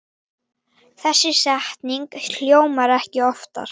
Þessi setning hljómar ekki oftar.